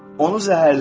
Onu zəhərlədin.